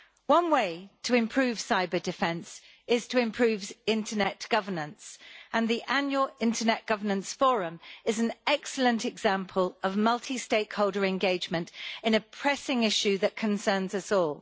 One way to improve cyber-defence is to improve internet governance, and the annual Internet Governance Forum is an excellent example of multi-stakeholder engagement in a pressing issue that concerns us all.